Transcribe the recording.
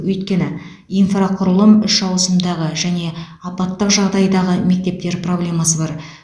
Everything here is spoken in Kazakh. өйткені инфрақұрылым үш ауысымдағы және апаттық жағдайдағы мектептер проблемасы бар